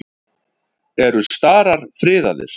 Eru starar friðaðir?